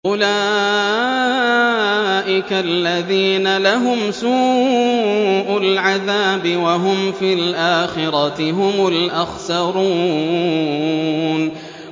أُولَٰئِكَ الَّذِينَ لَهُمْ سُوءُ الْعَذَابِ وَهُمْ فِي الْآخِرَةِ هُمُ الْأَخْسَرُونَ